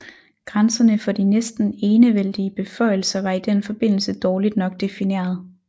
Grænserne for de næsten enevældige beføjelser var i den forbindelse dårligt nok defineret